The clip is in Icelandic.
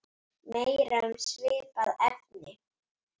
Meira um svipað efni